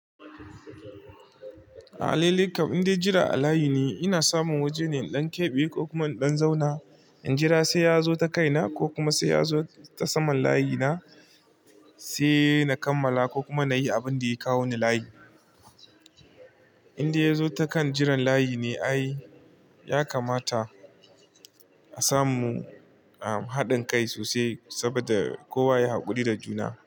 A alalaikam indai jira a layi ne, ina samun waje ne inɗan keɓe ko kuma inɗan zauna. In jira sai ya zo ta kaina ko kuma sai ya zo ta saman layina sai na kammala ko kuma na yi abin da ya kawo ni layi. Inda ya zo ta kan jiran layi ne ai ya kamata a samu, ah, haɗin kai sosai saboda kowa ya haƙuri da juna.